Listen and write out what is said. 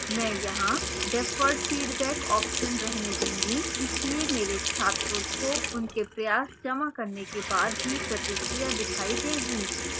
मैं यहां deferred feedback option रहने दूंगा इसलिए मेरे छात्रों को उनके प्रयास जमा करने के बाद ही प्रतिक्रिया दिखाई देगी